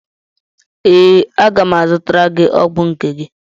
Ee, aga m azụtara gị ọgwụ nke gị